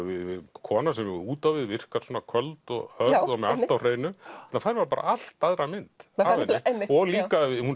kona sem út á við virkar svona köld og hörð og með allt á hreinu þarna fær maður allt aðra mynd af henni og hún